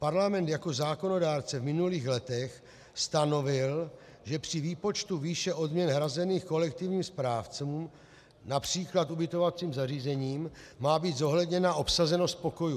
Parlament jako zákonodárce v minulých letech stanovil, že při výpočtu výše odměn hrazených kolektivním správcům například ubytovacím zařízením má být zohledněna obsazenost pokojů.